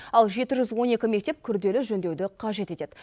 ал жеті жүз он екі мектеп күрделі жөндеуді қажет етеді